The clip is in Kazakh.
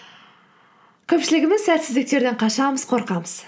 көпшілігіміз сәтсіздіктерден қашамыз қорқамыз